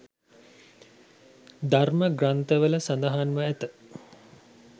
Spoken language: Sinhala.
ධර්ම ග්‍රන්ථවල සඳහන්ව ඇත.